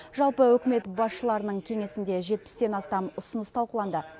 жалпы үкімет басшыларының кеңесінде жетпістен астам ұсыныс талқыланды